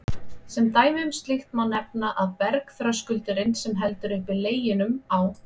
Sem dæmi um slíkt má nefna að bergþröskuldurinn, sem heldur uppi Leginum á